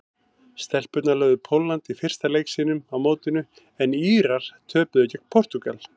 Stelpurnar lögðu Pólland í fyrsta leik sínum á mótinu en Írar töpuðu gegn Portúgal.